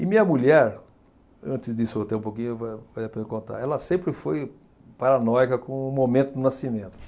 E minha mulher, antes disso até um pouquinho, é para eu contar, ela sempre foi paranoica com o momento do nascimento.